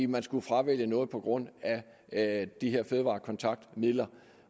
man skulle fravælge noget på grund af de her fødevarekontaktmidler